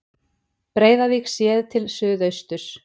breiðavík séð til suðausturs